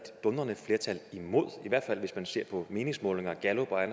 dundrende flertal imod i hvert fald hvis man ser på meningsmålingerne gallup og